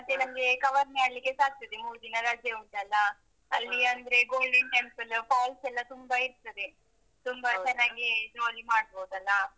ಮತ್ತೆ ನಮ್ಗೆ cover ಮಾಡ್ಲಿಕೆಸ ಆಗ್ತದೆ ಮೂರು ದಿನ ರಜೆ ಉಂಟಲ್ಲಾ. ಅಲ್ಲಿಅಂದ್ರೆ golden temple falls ಎಲ್ಲಾ ತುಂಬಾ ಇರ್ತದೆ. ತುಂಬಾ ಚೆನ್ನಾಗಿ jolly ಮಾಡ್ಬೋದಲ್ಲ.